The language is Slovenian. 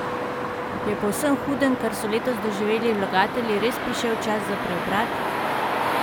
Je po vsem hudem, kar so letos doživeli vlagatelji, res prišel čas za preobrat?